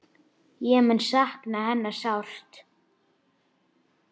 Ég mun sakna hennar sárt.